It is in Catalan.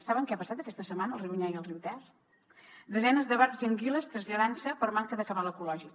saben què ha passat aquesta setmana al riu onyar i al riu ter desenes de barbs i anguiles traslladant se per manca de cabal ecològic